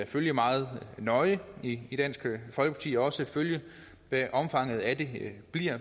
følge meget nøje i i dansk folkeparti og også følge hvad omfanget af det bliver